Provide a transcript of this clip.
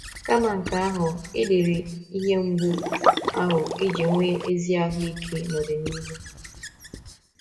Kama nke ahụ, i diri ihe mgbu ahụ iji nwee ezi ahụ́ ike n’ọdịnihu.